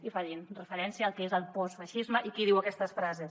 i facin referència al que és el postfeixisme i qui diu aquestes frases